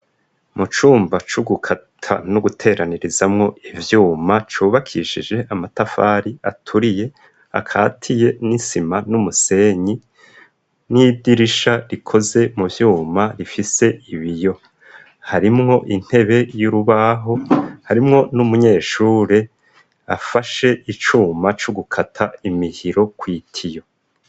mu cumba c'ugukata no guteranirizamwo ivyuma cubakishije amatafari aturiye akatiye n'isima n'umusenyi n'idirisha rikoze mu vyuma rifise ibiyo harimwo intebe y'urubaho harimwo n'umunyeshure afashe icuma c'ugukata imihiro kw' itiyo